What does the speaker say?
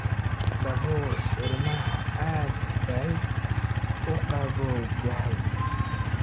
Dabool ilmaha, aad bay uu qabowdahay.